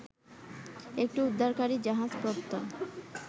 একটি উদ্ধারকারি জাহাজ প্রত্যয়